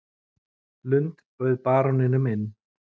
Lund bauð baróninum inn.